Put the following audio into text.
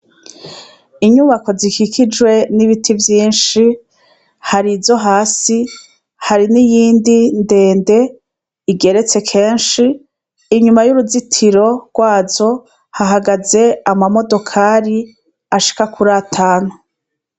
Inyubako zikikijwe n'ibiti vyinshi. Hari izo hasi hari n'iyindi ndende igeretse kenshi, inyuma y'uruzitiro rwazo hahagaze amamodokari ashika kur'atanu.